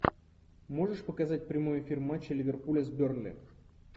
можешь показать прямой эфир матча ливерпуля с бернли